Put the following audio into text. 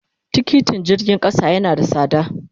Tikiti jirgin kasa yana da sada.